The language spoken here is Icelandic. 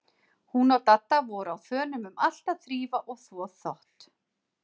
Hún og Dadda voru á þönum um allt að þrífa og þvo þvott.